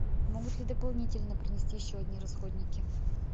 могут ли дополнительно принести еще одни расходники